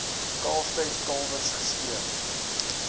kalftyd kalwers gespeen